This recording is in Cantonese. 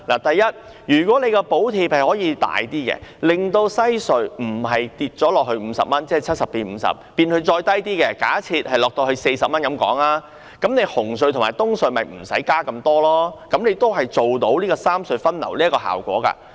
第一，如果政府可以增加補貼，令西隧收費不是由70元減至50元，而是更低，假設減至40元，那麼紅隧和東隧的加幅便不用那麼大，這樣也可以做到三隧分流的效果。